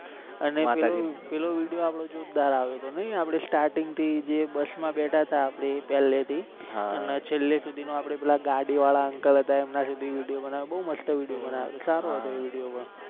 અને પેલો પેલો video આપણો જોરદાર આવ્યો હતો નહી આપણે starting થી જે બસ માં બેઠા હતા આપણે પહેલે થી અને છેલ્લે સુધી પેલા ગાડી વાળા uncle હતા. એમના સુધી video બનાવી બહુ મસ્ત video બનાવી સારો હતો એ video પણ